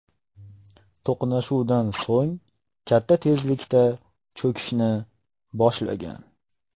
To‘qnashuvdan so‘ng katta tezlikda cho‘kishni boshlagan.